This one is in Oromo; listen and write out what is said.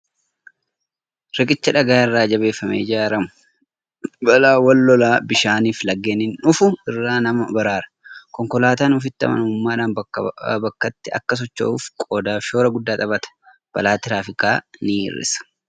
Riqichi dhagaa irraa jabeeffamee ijaaramu balaawwan lolaa bishaanii fi laggeeniin dhufu irraa nama baraara. Konkolaataan ofitti amanamummaadhaan bakkaa bakkatti akka socho'uuf qoodaa fi shoora guddaa taphata. Balaa tiraafikaa ni hir'isa.